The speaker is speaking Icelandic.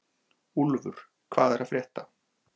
Úlfur, hvað er að frétta?